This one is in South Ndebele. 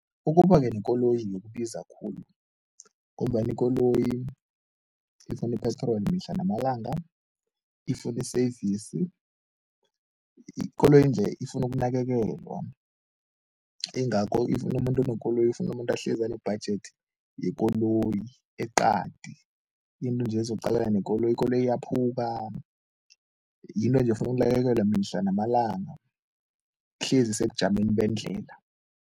Ukuba-ke nekoloyi kubiza khulu ngombana ikoloyi ifuna ipetroli mihla namalanga, ifuna i-service, ikoloyi nje ifuna ukunakekelwa ingakho if umuntu unekoloyi ifuna umuntu ahlezi ane-budget yekoloyi eqadi, into nje ezokuqalana nekoloyi, ikoloyi iyaphuka, yinto enje efuna ukunakekelwa mihla namalanga, ihlezi isebujameni bendlela.